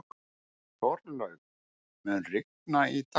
Þorlaug, mun rigna í dag?